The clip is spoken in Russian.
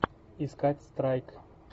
искать страйк